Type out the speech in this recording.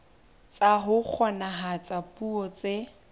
tsa ho kgonahatsa puo tse